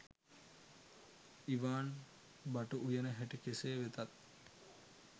ඉවාන් බටු උයන හැටි කෙසේ වෙතත්